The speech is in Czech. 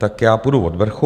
Tak já půjdu od vrchu.